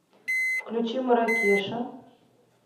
включи маракеша